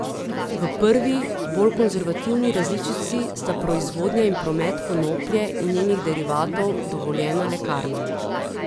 V prvi, bolj konservativni različici sta proizvodnja in promet konoplje in njenih derivatov dovoljena lekarnam.